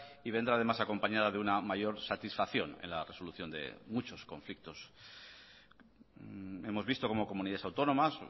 y vendrá además acompañada de una mayor satisfacción en la resolución de muchos conflictos hemos visto cómo comunidades autónomas